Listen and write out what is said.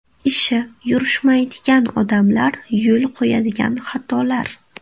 Ishi yurishmaydigan odamlar yo‘l qo‘yadigan xatolar.